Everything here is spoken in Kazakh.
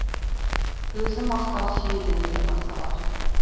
өзі мақтау сүйеді деді мырзалар